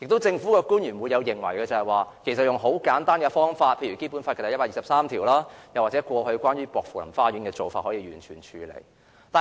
政府官員亦會認為解決方法很簡單，可根據《基本法》第一百二十三條或過去薄扶林花園的案例處理。